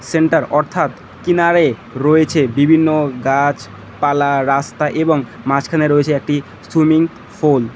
Centre অর্থাৎ কিনারে রয়েছে বিভিন্ন গাছ পালা রাস্তা এবং মাঝখানে রয়েছে একটি সুইমিং ফুল ।